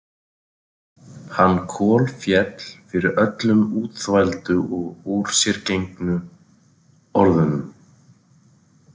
Hann kolféll fyrir öllum útþvældu og úrsérgengnu orðunum.